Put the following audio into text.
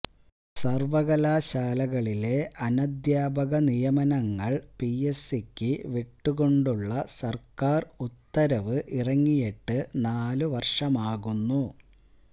സര്വകലാശാലകളിലെ അനധ്യാപക നിയമനങ്ങള് P S സിക്ക് വിട്ടുകൊണ്ടുള്ള സര്ക്കാര് ഉത്തരവ് ഇറങ്ങിയിട്ട് നാലു വര്ഷമാകുന്നു